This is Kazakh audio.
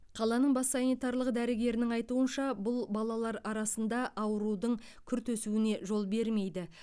қаланың бас санитарлық дәрігерінің айтуынша бұл балалар арасында аурудың күрт өсуіне жол бермейді